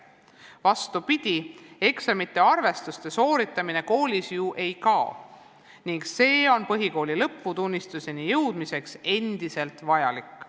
Vastupidi, eksamite-arvestuste sooritamine koolis ju ei kao ning nende läbimine on põhikooli lõputunnistuse saamiseks endiselt vajalik.